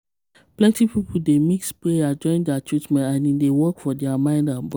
plenty people dey mix prayer join their treatment and e dey work for their mind and body.